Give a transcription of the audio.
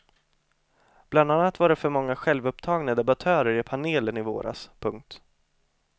Bland annat var det för många självupptagna debattörer i panelen i våras. punkt